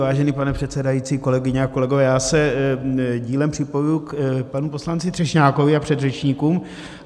Vážený pane předsedající, kolegyně a kolegové, já se dílem připojuji k panu poslanci Třešňákovi a předřečníkům.